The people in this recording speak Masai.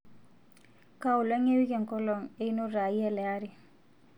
kaa olong e wiki enkolong einoto aai ele ari